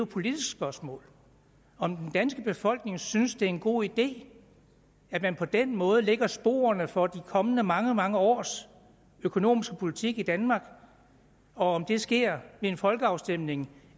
politisk spørgsmål om den danske befolkning synes at det en god idé at man på den måde lægger sporene for de kommende mange mange års økonomiske politik i danmark og om det sker ved en folkeafstemning